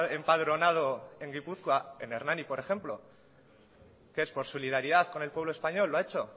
empadronado en gipuzkoa en hernani por ejemplo que es por solidaridad con el pueblo español lo ha hecho